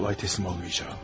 Asan təslim olmayacağam.